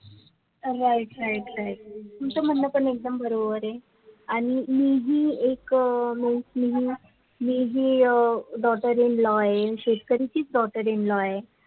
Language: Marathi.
right right right तुमचं म्हण पण एकदम बरोबर आहे आणि हि जी एक MOSTLY हि जी daughter in law आहे शेतकरीचीही daughter in law आहे